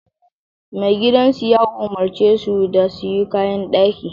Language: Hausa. Maigidansu ya umarce su da su yi kayan daki